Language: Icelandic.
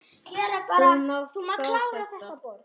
Þú mátt fá þetta.